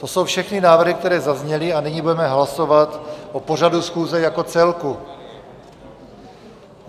To jsou všechny návrhy, které zazněly, a nyní budeme hlasovat o pořadu schůze jako celku.